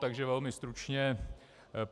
Takže velmi stručně.